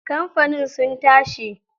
Kamfani sun tashi.